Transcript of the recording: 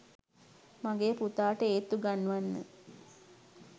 මගේ පුතාට ඒත්තු ගන්වන්න.